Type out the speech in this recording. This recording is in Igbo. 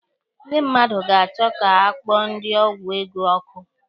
Ndị mmadụ ga-achọ ka a kpọọ ndị ọgwụ ego ọkụ.